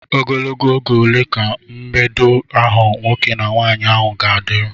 Ogologo oge ole ka mbedo ahụ nwoke na nwaanyị ahụ ga-adịru?